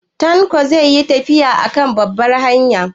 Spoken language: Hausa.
Tanko zai yi tafiya a kan babbar hanya gobe?